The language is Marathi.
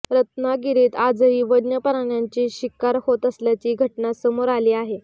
रत्नागिरीत आजही वन्य प्राण्यांची शिकार होत असल्याची घटना समोर आली आहे